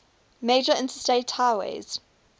major interstate highways